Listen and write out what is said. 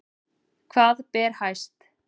Hvað ber hæst